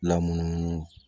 Lamunumunu